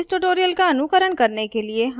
इस tutorial का अनुकरण करने के लिए हमें ज्ञात होना चाहिए